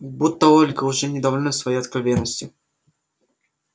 будто ольга уже недовольна своей откровенностью